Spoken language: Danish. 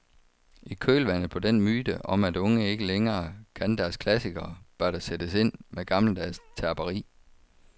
I kølvandet på den myte om at unge ikke længere kan deres klassikere, bør der sættes ind med gammeldags terperi.